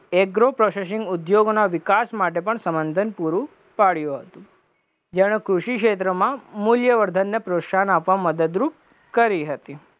Agro processing ઉદ્યોગોના વિકાસ માટે પણ સમર્થન પૂરું પાડયું હતું, જેણે કૃષિ ક્ષેત્રમાં મુલ્યવર્ધનને પ્રોત્સાહન આપવામાં મદદરૂપ કરી હતી